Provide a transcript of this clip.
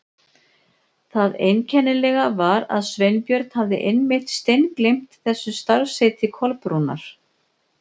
Það einkennilega var að Sveinbjörn hafði einmitt steingleymt þessu starfsheiti Kolbrúnar.